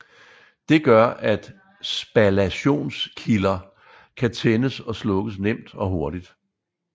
Det gør at spallationskilder kan tændes og slukkes nemt og hurtigt